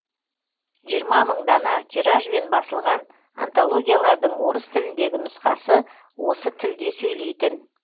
жиырма мың дана тиражбен басылған антологиялардың орыс тіліндегі нұсқасы осы тілде сөйлейтін